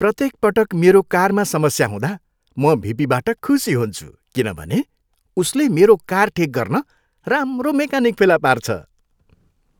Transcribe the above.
प्रत्येक पटक मेरो कारमा समस्या हुँदा, म भिपीबाट खुसी हुन्छु किनभने उसले मेरो कार ठिक गर्न राम्रो मेकानिक फेला पार्छ।